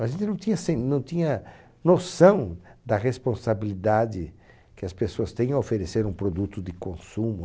A gente não tinha assim, não tinha noção da responsabilidade que as pessoas têm em oferecer um produto de consumo.